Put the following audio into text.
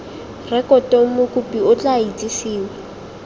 rekotong mokopi o tla itsisiwe